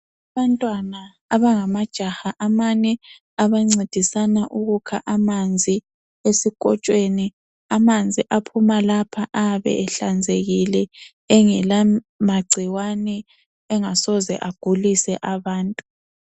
Abantwana abangamajaha amane abancedisana ukukha amanzi esikotshweni ,amanzi aphuma lapha ayabe ehlanzekile engela magcikwane engasoze agulise abantu.